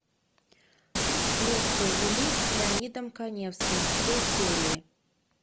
следствие вели с леонидом каневским все серии